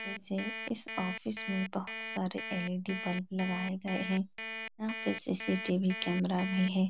ऐसे इस ऑफिस में बहोत सारे एल इ डी बल्ब लगाये गए हैं। यहां पे सीसीटीवी कैमरा भी है।